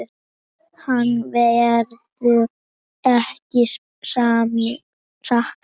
Hans verður ekki saknað.